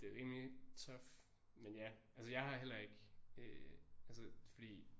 Det er rimelig tough men ja altså jeg har heller ikke øh altså fordi